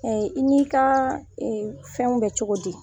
i n'i ka fɛnw bɛ cogo di ?